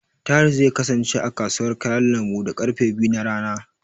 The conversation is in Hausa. Tahir zai kasance, a kasuwar kayan lambu, da karfe biyu na rana.